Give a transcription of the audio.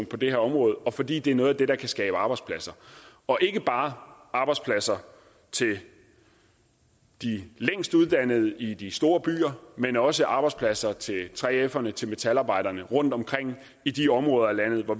på det her område og fordi det er noget af det der kan skabe arbejdspladser og ikke bare arbejdspladser til de længstuddannede i de store byer men også arbejdspladser til 3ferne til metalarbejderne rundtomkring i de områder af landet hvor